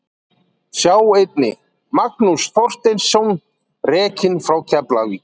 Sjá einnig: Magnús Þorsteinsson rekinn frá Keflavík